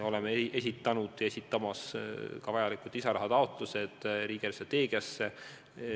Me esitame vajalikud lisarahataotlused ka riigi eelarvestrateegia arutelul.